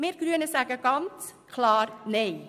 Wir Grünen sagen klar Nein zu dieser Massnahme.